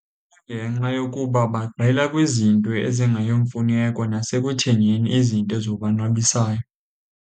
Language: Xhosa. Kungenxa yokuba bagxela kwizinto ezingeyomfuneko nasekuthengeni izinto ezibonwabisayo.